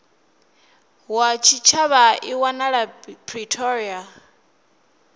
wa tshitshavha i wanala pretoria